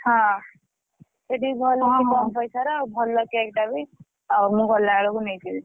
ହଁ ଏଠିବି ଭଲ ଦଉଛି କମ ପଇସାର ଆଉ ଭଲ cake ଟା ବି ଆଉ ମୁଁ ଗଲାବେଳକୁ ନେଇଯିବି।